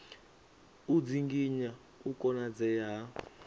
u dzinginya u konadzea ha